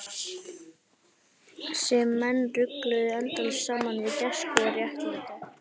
Sem menn rugluðu endalaust saman við gæsku og réttlæti.